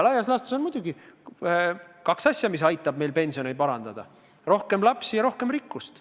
Laias laastus on muidugi kaks asja, mis aitavad meil pensionit suurendada: rohkem lapsi ja rohkem rikkust.